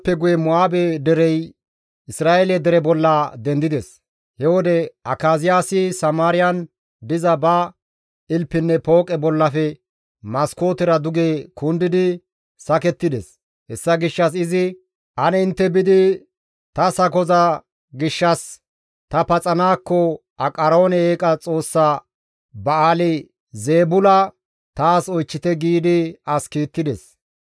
He wode Akaziyaasi Samaariyan diza ba ilpinne pooqe bollafe maskootera duge kundidi sakettides; hessa gishshas izi, «Ane intte biidi ta sakoza gishshas ta paxanaakko Aqaroone eeqa xoossa Ba7aali-Zeebula taas oychchite» giidi as kiittides.